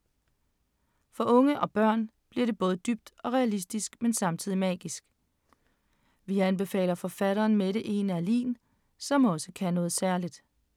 For unge og børn bliver det både dybt og realistisk, men samtidig magisk. Vi anbefaler forfatteren Mette E. Neerlin, som også kan noget særligt.